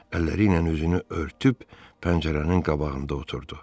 Əlləriylə özünü örtüb pəncərənin qabağında oturdu.